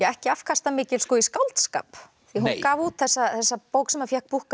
ekki afkastamikil í skáldskap því hún gaf út þessa þessa bók sem fékk